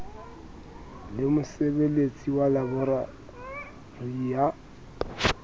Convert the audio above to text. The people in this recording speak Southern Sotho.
le mosebeletsi wa laeborari ya